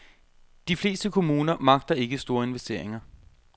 De fleste kommuner magter ikke store investeringer.